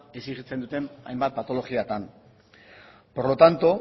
exijitzen duten hainbat patologiatan por lo tanto